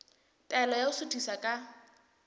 taelo ya ho suthisa ka